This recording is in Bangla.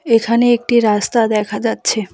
এখানে একটি রাস্তা দেখা যাচ্ছে।